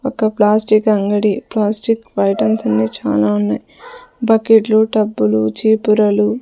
ఒక ప్లాస్టిక్ అంగడి plastic items అన్ని చానా ఉన్నాయ్ బకెట్లు టబ్బులు చీపురలు.